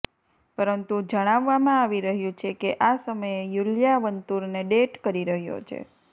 પરંતુ જણાવવામાં આવી રહ્યું છે કે આ સમયે તે યૂલિયા વંતૂરને ડેટ કરી રહ્યો છે